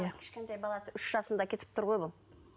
кішкентай баласы үш жасында кетіп тұр ғой бұл